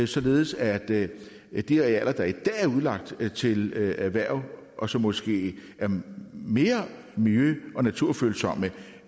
således at at de arealer der i dag er udlagt til erhverv og som måske er mere mere miljø og naturfølsomme